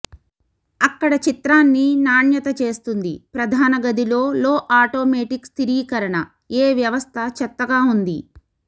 అక్కడ చిత్రాన్ని నాణ్యత చేస్తుంది ప్రధాన గదిలో లో ఆటోమేటిక్ స్థిరీకరణ ఏ వ్యవస్థ చెత్తగా ఉంది